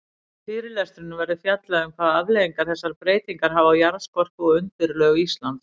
Í fyrirlestrinum verður fjallað um hvaða afleiðingar þessar breytingar hafa á jarðskorpu og undirlög Íslands.